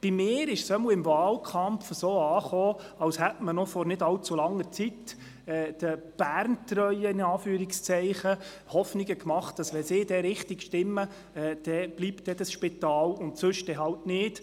Im Wahlkampf hatte ich den Eindruck, als hätte man den «Berntreuen» vor noch nicht allzu langer Zeit die Hoffnung gemacht, wenn sie richtig stimmen würden, bliebe das Spital, ansonsten halt nicht.